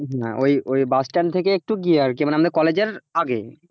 না ওই ওই bus stand থেকে একটু গিয়ে আরকি মানে আমাদের college এর আগে,